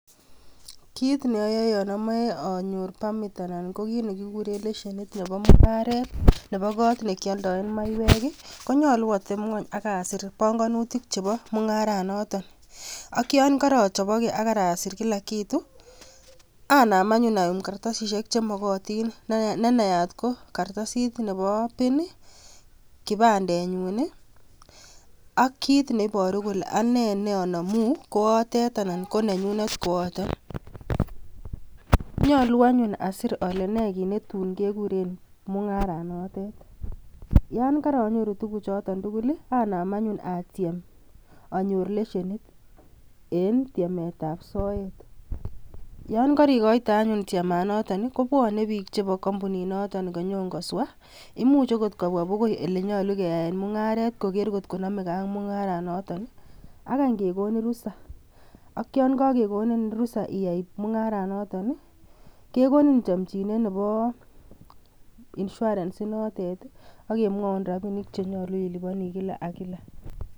kit neoyoe yon omoe anyor permit anan ko kit nekikuren leshenit nebo kot nekioldoen maiyek ih konyolu ateb ng'weny ak asir bongonutik chebo mung'aranoton ak yon korochoboke ak asir kila kitu anam anyun ayum kartasisiek chemokotin nenaat ko kartasit nebo pin ih kipandenyun ih ak kit neiboru kole anee neonomuu kootet anan ko nenyunet kooton. Nyolu anyun asir ole nee kit netun kekuren mung'aranotet, yan karonyoru tuguk choton tugul ih anam anyun atyem anyor leshenit en tyemetab soet yon kerikoite anyun tyemanoton ih kobwone biik chebo kampunit noton konyon koswa, imuch okot kobwa bokoi elenyolu keyaen mung'aret koker kotko nomegee ak mung'aranoton ih ak any kekonin rusa, ak yan kakekonin rusa iyai mung'aranoton ih kekonin chomchinet nebo insurance inotet ih akemwoun rapinik chenyolu iliponii kila ak kila